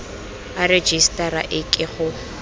a rejisetara e ke go